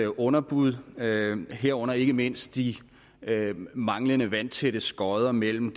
underbud herunder ikke mindst de manglende vandtætte skotter mellem